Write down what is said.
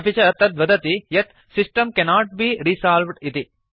अपि च तत् वदति यत् सिस्टम् कैनोट बे रिसॉल्व्ड् इति